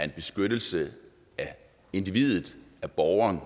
en beskyttelse af individet af borgeren